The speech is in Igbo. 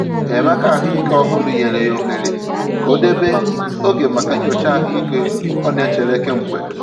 Enyémàkà ahụ́ ike òhùrù nyere ya ohere ka ọ debe oge maka nyocha ahụ́ ike ọ na-echere kemgbe.